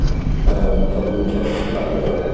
ଅ ସବୁ ଜିନିଷ systematic ରହିବ